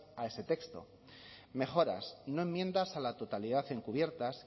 a ese texto mejoras no enmiendas a la totalidad encubiertas